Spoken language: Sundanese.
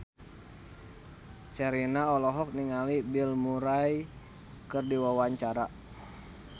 Sherina olohok ningali Bill Murray keur diwawancara